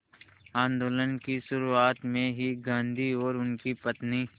आंदोलन की शुरुआत में ही गांधी और उनकी पत्नी